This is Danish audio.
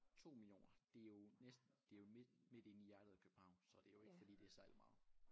2 millioner det jo næsten det jo midt midt inde i hjertet af København så det jo ikke fordi det er særlig meget